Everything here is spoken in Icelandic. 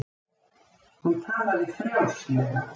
Hún talaði frjálslega.